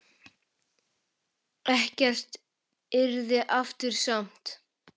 Ekkert yrði aftur samt.